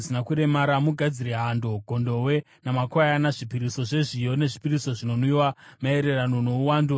Mugadzire hando, gondobwe namakwayana, zvipiriso zvezviyo nezvipiriso zvinonwiwa, maererano nouwandu hwakarayirwa.